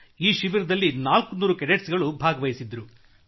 ಈ ಶಿಬಿರದಲ್ಲಿ 400 ಕೆಡೆಟ್ಸ್ಗಳು ಭಾಗವಹಿಸಿದ್ದರು